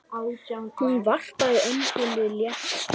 Hún varpaði öndinni léttar.